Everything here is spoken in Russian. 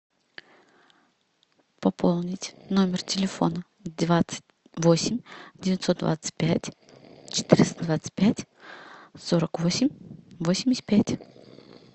пополнить номер телефона двадцать восемь девятьсот двадцать пять четыреста двадцать пять сорок восемь восемьдесят пять